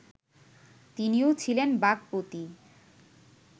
তিনিও ছিলেন বাক্পতি